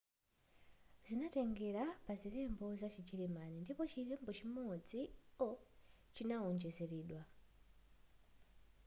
zinatengera pa zilembo za chijeremani ndipo chilembo chimodzi õ/õ” chinawonjezeredwa